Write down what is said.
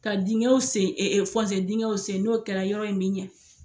Ka dingɛw sen dingɛw sen, n'o kɛra yɔrɔ in min ɲa.